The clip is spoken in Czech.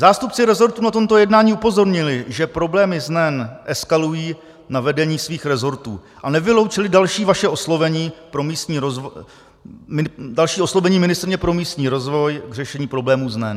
Zástupci resortů na tomto jednání upozornili, že problémy s NEN eskalují na vedení svých resortů, a nevyloučili další oslovení ministryně pro místní rozvoj k řešení problémů s NEN.